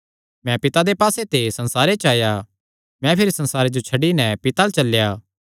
मैं पिता दे पास्से ते संसारे च आया मैं भिरी संसारे जो छड्डी नैं पिता अल्ल चलेया